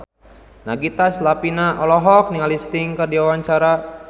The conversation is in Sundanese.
Nagita Slavina olohok ningali Sting keur diwawancara